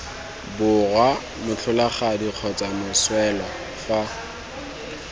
borwa motlholagadi kgotsa moswelwa fa